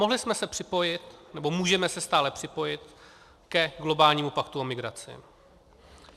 Mohli jsme se připojit, nebo můžeme se stále připojit ke globálnímu paktu o migraci.